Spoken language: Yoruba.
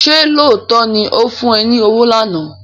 Ṣé lóòótọ́ ni ó fún ẹ ní owó lánàá?